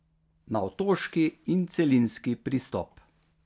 Na otoški in celinski pristop.